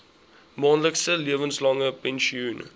maandelikse lewenslange pensioen